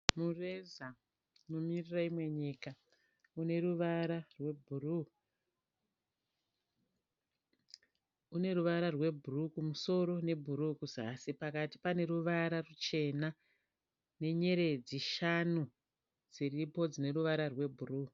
Mureza unomiririra imwe nyika. Uneruvara rwebhuruu. Uneruvara rwebhuruu kumusoro nebhuruu kuzasi. Pakati paneruvara ruchena nenyeredzi shanu dziripo dzineruvara rwebhuruu.